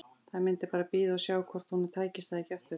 Það myndi bara bíða og sjá hvort honum tækist það ekki aftur.